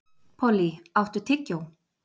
Polly, áttu tyggjó?